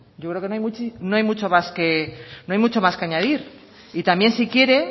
yo creo que no hay mucho más que añadir y también si quiere